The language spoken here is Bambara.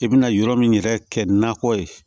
I bɛna yɔrɔ min yɛrɛ kɛ nakɔ ye